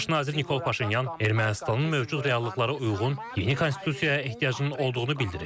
Baş nazir Nikol Paşinyan Ermənistanın mövcud reallıqlarına uyğun yeni konstitusiyaya ehtiyacının olduğunu bildirib.